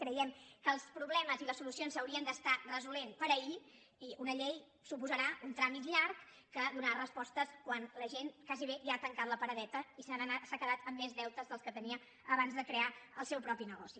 creiem que els problemes i les solucions s’haurien d’estar resolent per ahir i una llei suposarà un tràmit llarg que donarà respostes quan la gent quasi ja ha tancat la paradeta i s’ha quedat amb més deutes dels que tenia abans de crear el seu propi negoci